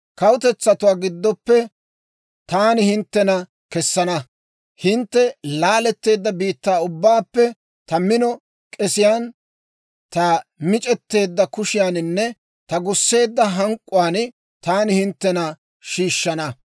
Kawutetsatuwaa giddoppe taani hinttena kessana; hintte laaletteedda biittaa ubbaappe ta mino k'esiyaan, ta mic'eteedda kushiyaaninne ta gusseedda hank'k'uwaan taani hinttena shiishshana.